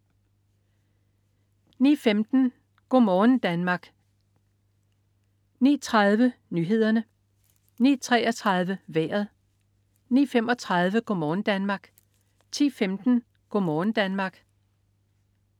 09.15 Go' morgen Danmark 09.30 Nyhederne 09.33 Vejret 09.35 Go' morgen Danmark 10.15 Go' morgen Danmark